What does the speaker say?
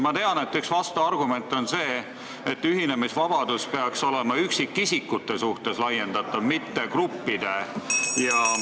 Ma tean, et üks vastuargument on see, et ühinemisvabadus peaks olema laiendatav üksikisikute suhtes, mitte gruppide ja ...